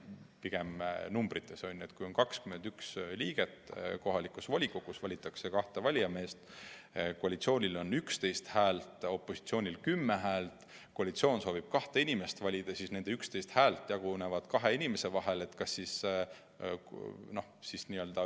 Kui kohalikus volikogus on 21 liiget ja valitakse kahte valijameest, kusjuures koalitsioonil on 11 häält ja opositsioonil 10 häält ning koalitsioon soovib kahte oma inimest valida, siis koalitsiooni 11 häält jagunevad kahe inimese vahel.